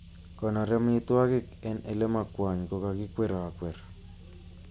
Konoor amitwogik en elemokwony kokakikwerokwer.